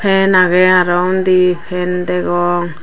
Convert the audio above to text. fan aagey aaro uni fan degong.